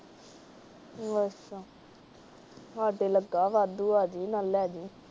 ਅੱਛਾ ਸਾਡੇ ਲੱਗਾ ਵਾਧੂ ਆ ਜਾਇ, ਨਾਲੇ ਲੈ ਜੀ।